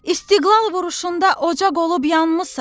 İstiqlal vuruşunda ocaq olub yanmısan.